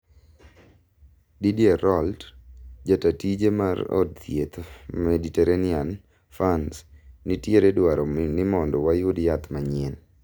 Didier Raoult , jatatije mar od thieth maditerranian, frans " nitieredwaro nimondo wayud yath manyien"